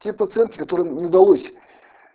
те проценты которым не удалось